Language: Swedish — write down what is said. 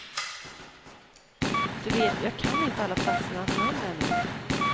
Du vet, jag kan inte alla platsernas namn ännu.